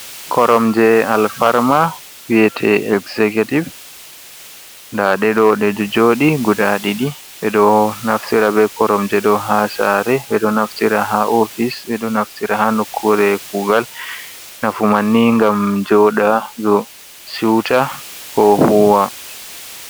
Koromje alfarma wi'ete executive nda ɗe ɗo, ɗe ɗo jooɗi guda ɗiɗi. Ɓe ɗo naftira be koromje ɗo ha saare, ɓe ɗo naftira ha ofis, ɓe ɗo naftira ha nokkure kugal. Nafu man ni ngam joɗaago siwta ko huuwa.